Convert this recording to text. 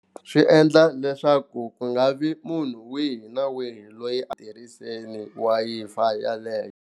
Swi endla leswaku ku nga vi munhu wihi na wihi loyi a tirhiseni Wi-Fi yaleyo.